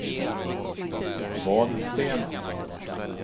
Vadstena